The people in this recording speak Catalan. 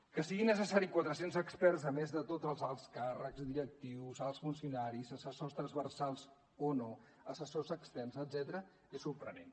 que siguin necessaris quatre cents experts a més de tots els alts càrrecs directius alts funcionaris assessors transversals o no assessors externs etcètera és sorprenent